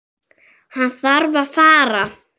Hann þarf að fara.